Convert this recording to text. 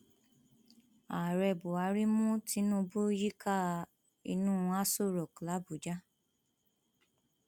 ààrẹ buhari mú tinubu yíká inú aṣọ rock làbújá